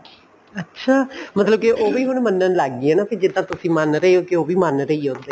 ਅੱਛਾ ਮਤਲਬ ਕੀ ਉਹ ਵੀ ਹੁਣ ਮੰਨਣ ਲੱਗ ਗਈ ਕੇ ਜਿੱਦਾਂ ਤੁਸੀਂ ਮੰਨ ਰਹੇ ਹੋ ਉਹ ਵੀ ਮੰਨ ਰਹੀ ਹੈ ਉੱਦਾਂ ਹੀ